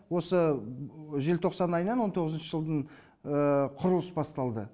осы желтоқсан айынан он тоғызыншы жылдың құрылыс басталды